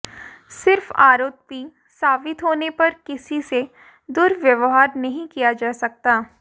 सिर्फ आरोपी साबित होने पर किसी से दुव्र्यवहार नहीं किया जा सकता